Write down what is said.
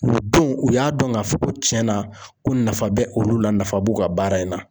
O don u y'a dɔn k'a fɔ ko tiɲɛ na ko nafa bɛ olu la nafa b'u ka baara in na.